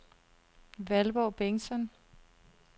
Valborg Bengtsson